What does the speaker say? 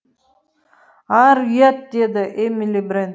ар ұят деді эмили брент